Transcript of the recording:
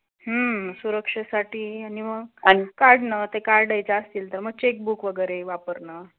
हम्म, सुरक्षेसाठी आणि मग काढण ते काढायचे असतील तर मग checkbook वगरे वापरणं.